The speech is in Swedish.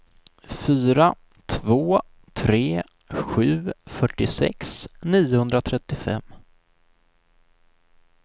fyra två tre sju fyrtiosex niohundratrettiofem